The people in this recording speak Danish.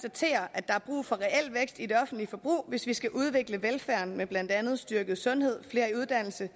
at der er brug for reel vækst i det offentlige forbrug hvis vi skal udvikle velfærden med blandt andet styrket sundhed flere i uddannelse